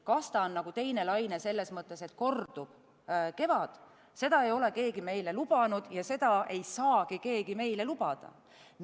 Kas see on teine laine selles mõttes, et kordub kevad, seda ei ole keegi meile lubanud ja seda ei saagi keegi meile lubada.